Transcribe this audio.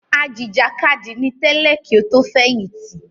Ajìjàkadì ni tẹ́lẹ̀ kí ó tó fẹ̀yìntì